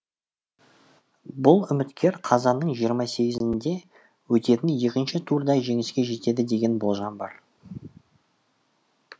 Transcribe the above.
бұл үміткер қазанның жиырма сегізінде өтетін екінші турда жеңіске жетеді деген болжам бар